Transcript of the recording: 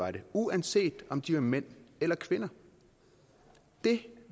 er det uanset om de er mænd eller kvinder det